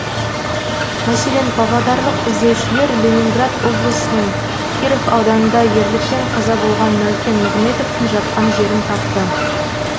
мәселен павлодарлық іздеушілер ленинград облысының киров ауданында ерлікпен қаза болған мәукен нығметовтің жатқан жерін тапты